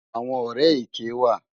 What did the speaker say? Awòn òrè éké wá